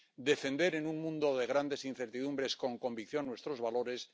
defender en un mundo de grandes incertidumbres con convicción nuestros valores